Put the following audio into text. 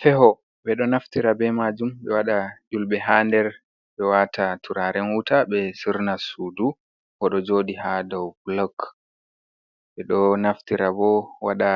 Feho be do naftira be majum be wada yulbe ha der be wata turaren wuta be surna sudu, godo jodi ha dou blok be do naftira bo wada